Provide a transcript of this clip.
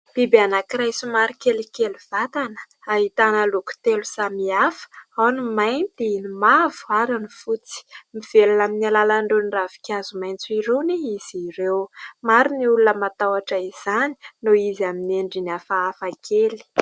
Biby anankiray somary kelikely vatana, ahitana loko telo samihafa: ao ny mainty, ny mavo, ary ny fotsy. Mivelona amin'ny alalan'irony ravinkazo maitso irony izy ireo. Maro ny olona matahoatra izany noho izy amin'ny endriny hafahafa kely.